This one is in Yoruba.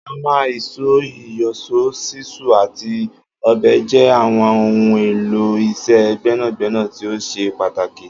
Ámà, ìs̩ó, ìyò̩s̩ó, s̩ísù àti ò̩be̩ jé̩ àwo̩n ohun èlò is̩é̩ gbé̩nàgbé̩nà tí ó s̩e pàtàkì